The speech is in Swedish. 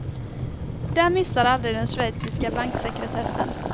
Där missar aldrig den schweiziska banksekretessen.